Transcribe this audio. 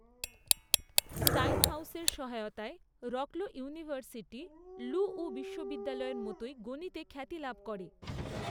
স্টাইনহাউসের সহায়তায় Wroclaw university লুউউ বিশ্ববিদ্যালয়ের মতোই গণিতে খ্যাতি লাভ করে।